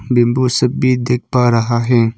Bamboo सब भी देख पा रहा है।